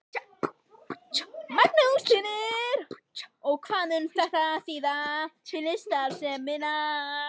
Magnús Hlynur: Og hvað mun þetta þýða fyrir starfsemina?